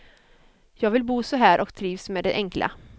Jag vill bo så här och trivs med det enkla.